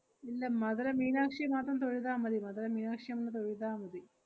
ഇല്ല മധുര മീനാക്ഷിയെ മാത്രം തൊഴുതാ മതി. മധുര മീനാക്ഷിയെ ഒന്ന് തൊഴുതാ മതി.